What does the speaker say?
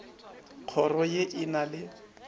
kgoro ye e na le